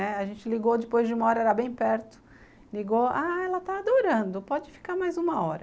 A gente ligou, depois de uma hora era bem perto, ligou, ah, ela está adorando, pode ficar mais uma hora.